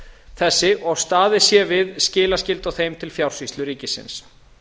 þessi og staðið sé við skilaskyldu á þeim til fjársýslu ríkisins